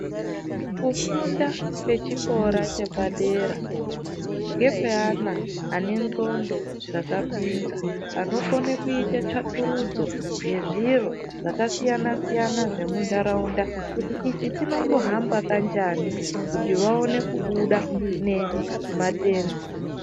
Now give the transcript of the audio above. Kufunda kwechikora chepadera ndekweana ane ndxondo dzakapinza anokone kuite tsvakurudzo yezviro zvakasiyana siyana zvemunharaunda kuti ichi chinombohamba kanjani kuti vaone kubuda nemate...